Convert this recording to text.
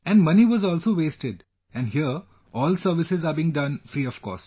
And money was also wasted and here all services are being done free of cost